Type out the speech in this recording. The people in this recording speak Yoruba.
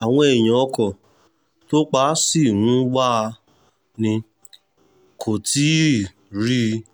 àwọn èèyàn ọkọ̀ tó pa ṣì ń wá a ni wọn kò tí ì rí i